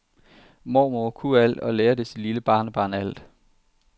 Mormor kunne alt og lærte sit lille barnebarn alt.